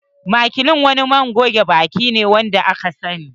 Maclean wani man goge baki wanda aka sani ne.